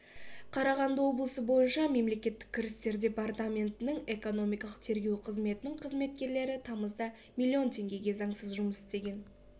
қарағанды облысы бойынша мемлекеттік кірістер департаментінің экономикалық тергеу қызметінің қызметкерлері тамызда миллион теңгеге заңсыз жұмыс істеген